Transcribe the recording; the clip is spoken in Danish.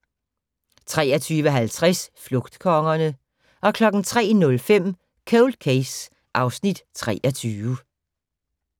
23:50: Flugtkongerne 03:05: Cold Case (Afs. 23)